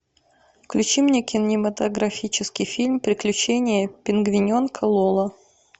включи мне кинематографический фильм приключения пингвиненка лоло